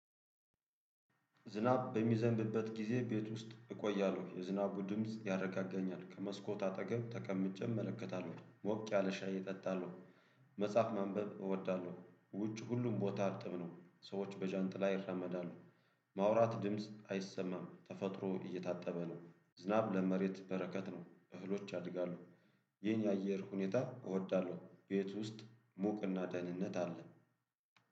ዝናብ በሚዘንብበት ጊዜ ቤት ውስጥ እቆያለሁ። የዝናቡ ድምጽ ያረጋገኛል። ከመስኮት አጠገብ ተቀምጬ እመለከታለሁ። ሞቅ ያለ ሻይ እጠጣለሁ። ዝናብ በሚዘንብበት ጊዜ ቤት ውስጥ እቆያለሁ። የዝናቡ ድምጽ ያረጋገኛል። ከመስኮት አጠገብ ተቀምጬ እመለከታለሁ። ሞቅ ያለ ሻይ እጠጣለሁ። ይህን የአየር ሁኔታ እወዳለሁ። ቤት ውስጥ ሙቅ እና ደህንነት አለ።